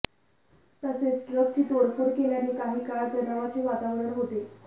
तसेच ट्रकची तोडफोड केल्याने काही काळ तणावाचे वातावरण होते